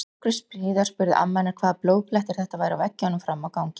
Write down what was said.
Nokkru síðar spurði amma hennar hvaða blóðblettir þetta væru á veggjunum frammi á gangi.